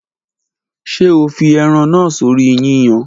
Ṣe o fi eran naa sori yiyan?